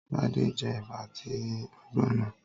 Sade je eba ati ati ogbonna